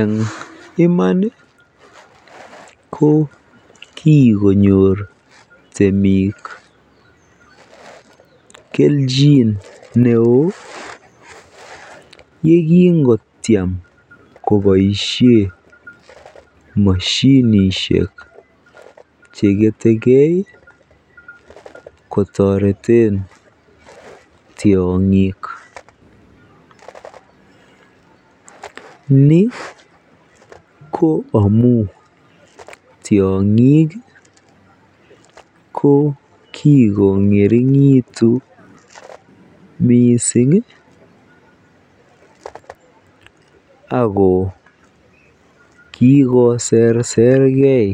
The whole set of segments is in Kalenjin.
Eng iman ko kikonyor temik keljin neoo yekingotiem koboisie mosiinisiek chegetegei kotoretei tiong'ik ni ko amu tiang'ik ko kikong'ering'itu mising ako kikoseserkei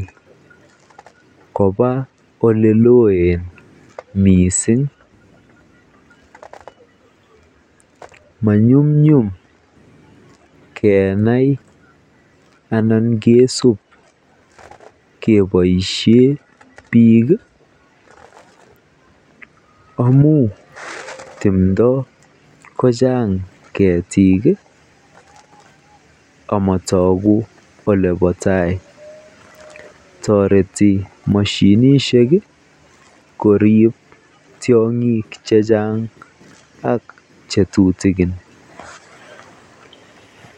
koba olelooen mising. Monyumnyum kenai anan kesuub keboisie biik amu timdo kochang keetik amatagu olebo taai. Toreti moshinishek koriib tiong'iik chechaang ak chetutikin.